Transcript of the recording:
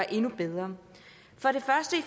endnu bedre